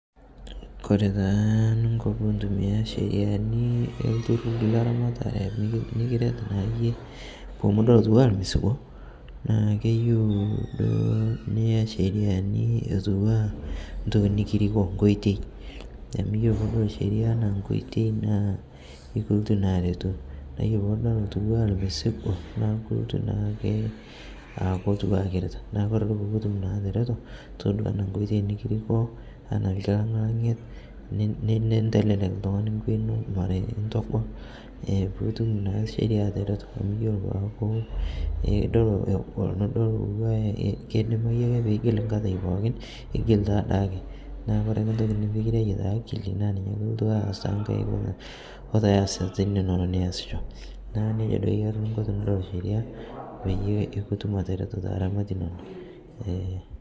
Kore taa ninkoo pintumia sheriani elturur leramataree nikiret naakeye piimidol atuwaa lmesigoo naa keyeu duo niyaa sheriani atuwaa ntoki nikirikoo nkoitei amu ore piidol seria ana nkoitei naa ikiltuu naa aretuu naa iyolo piidol atuwaa lmesigoo naa kultuu naake atuwaa kiritaa naa kore duo pukutum naa ateretoo todua ana nkoitei nikirikoo ana lkilang'lang'iet nintelelek ltungani nkwee inoo mara intogol pukutum naa sheria ateretoo amu kore peakuu idol egol nidol atuwaa keidimai akee piigil nkatai pookin igil taadake naa kore ake ntokii nimikireyoo taakili naa ninye ake iltuu aas tankaik oo te asat inono niasishoo naaku nejaa duo eyari ninko tinidol sheria peyie ikitum ateretoo te ramatii inoo eeeh.